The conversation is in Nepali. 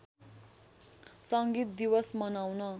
सङ्गीत दिवस मनाउन